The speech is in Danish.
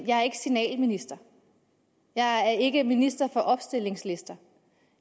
jeg er ikke signalminister jeg er ikke minister for opstillingslister